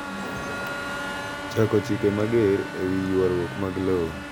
Chako chike mager e wi ywarruok mag lowo.